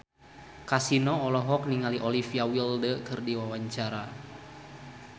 Kasino olohok ningali Olivia Wilde keur diwawancara